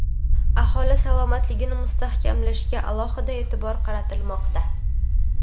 aholi salomatligini mustahkamlashga alohida e’tibor qaratilmoqda.